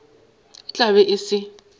e tla be e se